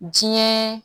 Diɲɛ